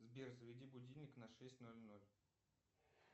сбер заведи будильник на шесть ноль ноль